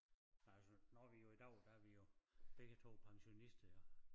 Men altså nu er vi jo i dag der er vi jo begge 2 pensionister jo